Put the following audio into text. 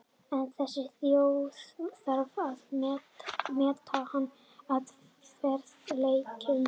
En þessi þjóð þarf að meta hann að verðleikum.